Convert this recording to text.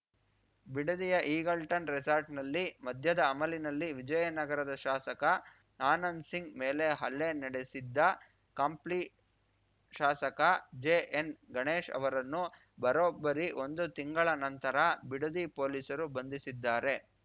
ಬಿಡದಿಯ Eagleton ರೆಸಾರ್ಟ್‌ನಲ್ಲಿ ಮದ್ಯದ ಅಮಲಿನಲ್ಲಿ ವಿಜಯನಗರದ ಶಾಸಕ ಆನಂದ್‌ ಸಿಂಗ್‌ ಮೇಲೆ ಹಲ್ಲೆ ನಡೆಸಿದ್ದ ಕಂಪ್ಲಿ ಶಾಸಕ ಜೆಎನ್‌ಗಣೇಶ್‌ ಅವರನ್ನು ಬರೊಬ್ಬರಿ ಒಂದು ತಿಂಗಳ ನಂತರ ಬಿಡದಿ ಪೊಲೀಸರು ಬಂಧಿಸಿದ್ದಾರೆ